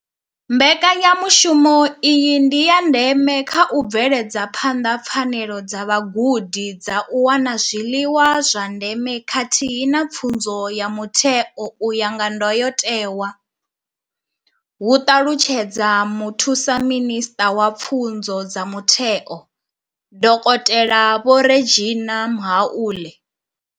Mbekanyamushumo iyi ndi ya ndeme kha u bveledza phanḓa pfanelo dza vhagudi dza u wana zwiḽiwa zwa ndeme khathihi na pfunzo ya mutheo u ya nga ndayotewa, hu ṱalutshedza muthusa minisṱa wa pfunzo dza mutheo, dokotela Vho Reginah Mhaule.